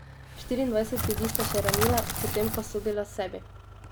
Štiriindvajset ljudi sta še ranila, potem pa sodila sebi.